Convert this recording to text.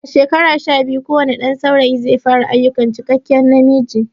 Daga shekara sha biyu kowane ɗan saurayi zai fara ayukan cikakke namiji